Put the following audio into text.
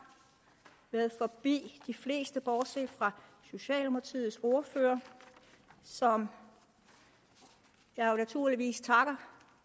været forbi de fleste bortset fra socialdemokratiets ordfører som jeg jo naturligvis takker